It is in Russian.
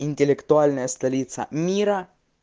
интеллектуальная столица мира